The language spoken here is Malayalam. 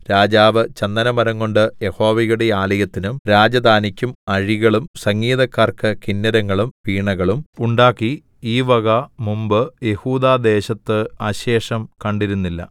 രാജാവ് ചന്ദനമരംകൊണ്ട് യഹോവയുടെ ആലയത്തിനും രാജധാനിക്കും അഴികളും സംഗീതക്കാർക്ക് കിന്നരങ്ങളും വീണകളും ഉണ്ടാക്കി ഈ വക മുമ്പ് യഹൂദാദേശത്ത് അശേഷം കണ്ടിരുന്നില്ല